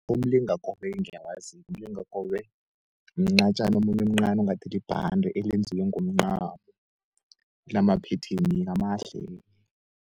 Umlingakobe-ke ngiyawazi-ke, umlingakobe mncatjano omncani ongathi libhande elenziwe ngomncamo, linaphetheni-ke amahle-ke.